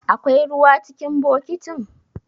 Akwai ruwa cikin bokitin?